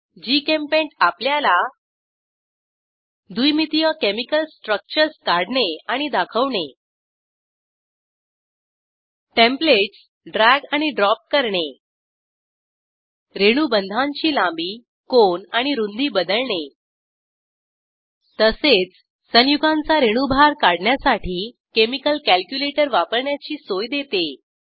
GChemPaint आपल्याला द्विमितीय chemical structures काढणे आणि दाखवणे टेम्प्लेटस ड्रॅग आणि ड्रॉप करणे रेणुबंधांची लांबी कोन आणि रुंदी बदलणे तसेच संयुगांचा रेणुभार काढण्यासाठी केमिकल कॅल्क्युलेटर वापरण्याची सोय देते